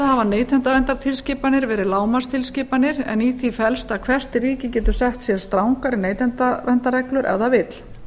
hafa neytendaverndartilskipanir verið lágmarkstilskipanir en í því felst að hvert ríki getur sett sér strangari neytendaverndarreglur ef það vill